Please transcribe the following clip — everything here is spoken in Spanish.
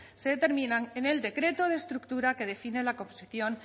se determinan en el decreto de estructura que define la composición